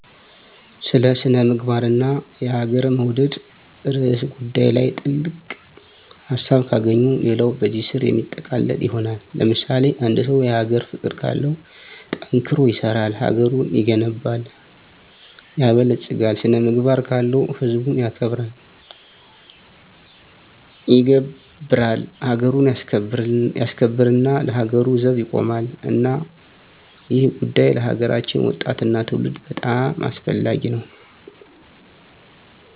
ስለ ስነ-ምግባርና የሀገርን መውደድ ርዕሰ ጉዳይ ላይ ጥልቅ ሀሳብ ካገኙ ሌላው በዚሕ ስር የሚጠቃለል ይሆናል። ለምሣሌ፦ አንድ ሰው የሀገር ፍቅር ካለው ጠንክሮ ይሠራል ሀገሩን ይገነባል ያበለፅጋል፣ ስነ-ምግባር ካለው ህዝቡን ያከብራል ይገበራል፣ ሀገሩን ያስከብራልና ለሀገሩ ዘብ ይቆማል እና ይሕ ጉዳይ ለሀገራችን ወጣትና ትውልድ በጣም አስፈላጊ ነው።